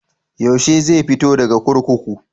Yaushe zai fito daga kurkuku?